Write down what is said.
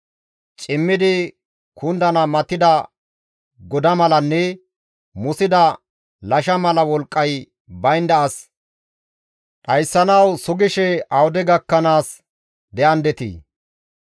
Cimmidi kundana matida goda malanne musida lasha mala wolqqay baynda as dhayssanawu sugishe awude gakkanaas de7andetii?